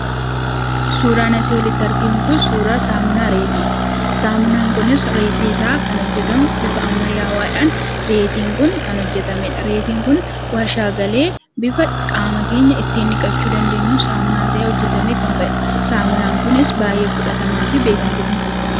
Suuraan asii olitti arginu Kun, suuraa reetiiti. Saamunaan kunis reetii irraa kan hojjetamu bifa ammayyaawaadhaan reetiin Kun kan hojjetamedha. Reetiin Kun waarshaa galee bifa qaama keenya ittiin dhiqachuu dandeenyuun saamunaa ta'ee hojjetamee kan bahedha. Saamunaan kunis baayyee fudhatamaa fi beekamtii kan qabudha.